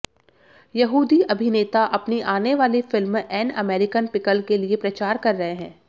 यहूदी अभिनेता अपनी आने वाली फ़िल्म एन अमेरिकन पिकल के लिए प्रचार कर रहे हैं